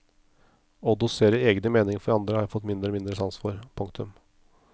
Å dosere egne meninger for andre har jeg fått mindre og mindre sans for. punktum